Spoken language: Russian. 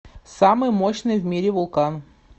самый мощный в мире вулкан